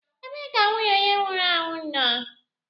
Ebee ka nwunye onye nwụrụ anwụ nọ?